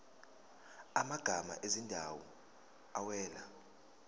amagama ezindawo awela